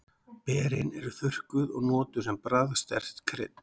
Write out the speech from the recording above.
Berin eru þurrkuð og notuð sem bragðsterkt krydd.